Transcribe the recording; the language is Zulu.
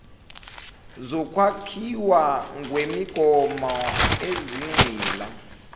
zokwakhiwa kwemigomo ezigxila